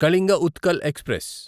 Kalinga Utkal express